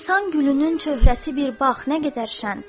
Nisan gülünün çöhrəsi bir bax nə qədər şən.